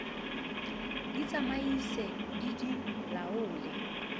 di tsamaise di di laole